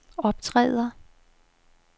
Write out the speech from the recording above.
optræder